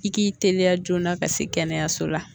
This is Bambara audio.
I k'i teliya joona ka se kɛnɛyaso la